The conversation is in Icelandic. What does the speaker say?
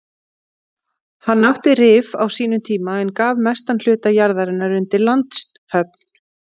Hann átti Rif á sínum tíma en gaf mestan hluta jarðarinnar undir landshöfn.